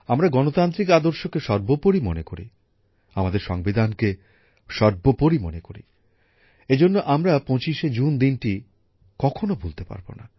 আমরা গণতান্ত্রিক আদর্শকে সবার উপরে মনে করি আমাদের সংবিধানকে সর্বোপরি মনে করি এই জন্য আমরা ২৫শে জুন দিনটি কখনো ভুলতে পারবো না